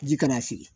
Ji kana sigi